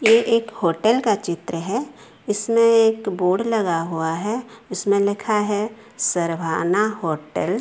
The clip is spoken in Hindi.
ये एक होटल का चित्र है इसमें एक बोर्ड लगा हुआ है उसमें लिखा है सरवाना होटल ।